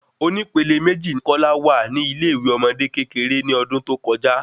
Oní pẹlẹ meji ni kola wa ni ile ìwé ọmọdé kékeré ni ọdún tó kọjá